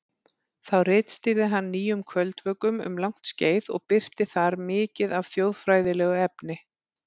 Þá ritstýrði hann Nýjum kvöldvökum um langt skeið og birti þar mikið af þjóðfræðilegu efni.